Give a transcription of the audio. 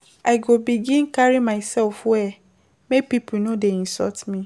I go begin carry mysef well, make pipo no dey insult me.